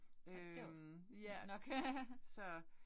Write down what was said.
Nåh det var grund nok